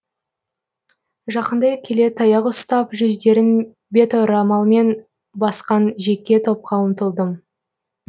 жақындай келе таяқ ұстап жүздерін беторамалмен басқан жеке топқа ұмтылдым